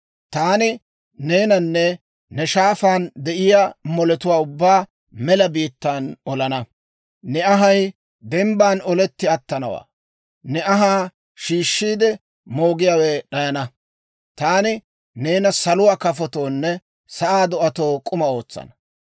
Taani neenanne ne shaafaan de'iyaa moletuwaa ubbaa mela biittan olana; ne anhay dembban oletti attanawaa; ne anhaa shiishshiide moogiyaawe d'ayana. Taani neena saluwaa kafotoonne sa'aa do'atoo k'uma ootsana.